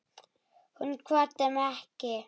Hún kvaddi mig ekki.